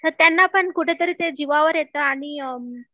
ते त्यांना पण ते कुठंतरी जिवावर येतं आणि